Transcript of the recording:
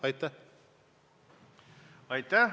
Aitäh!